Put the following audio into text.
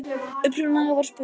Upprunalega var spurt: